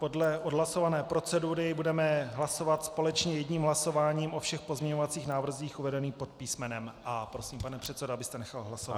Podle odhlasované procedury budeme hlasovat společně jedním hlasováním o všech pozměňovacích návrzích uvedených pod písmenem A. Prosím, pane předsedo, abyste nechal hlasovat.